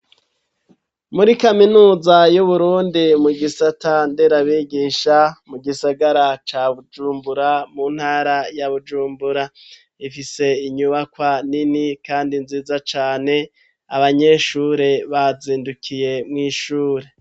Muri kaminuza, y'Uburundi, mu gisata nderabigisha, mu gisagara ca Bujumbura, mu ntara ya Bujumbura; ifise inyubakwa nini, kandi nziza cane; abanyeshuri, bazindukiye mw'ishure.